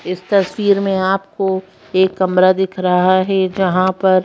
इस तस्वीर में आपको एक कमरा दिख रहा है जहां पर--